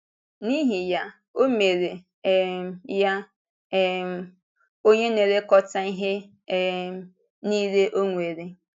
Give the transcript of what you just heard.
N’ihi ya, ọ mere um ya um “onye na-elekọta ihe um niile ọ nwere.”